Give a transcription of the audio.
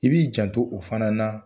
I b'i janto o fana na